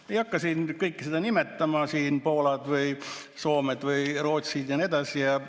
Ma ei hakka siin kõike nimetama, Poolad või Soomed või Rootsid ja nii edasi.